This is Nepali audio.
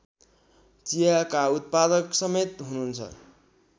चियाका उत्पादकसमेत हुनुहुन्छ